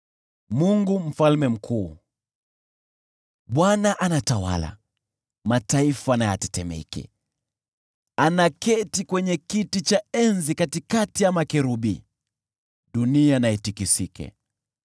Bwana anatawala, mataifa na yatetemeke; anakalia kiti cha enzi katikati ya makerubi, dunia na itikisike.